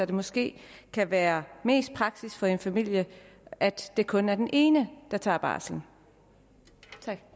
det måske kan være mest praktisk for en familie at det kun er den ene der tager barselen